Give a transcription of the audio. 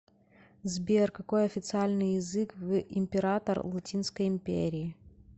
сбер какой официальный язык в император латинской империи